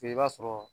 F'i b'a sɔrɔ